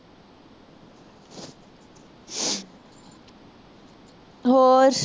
ਹੋਰ